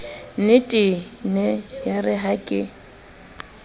nnetee nee yeere ha ke